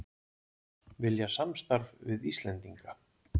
Vilja samstarf við Íslendinga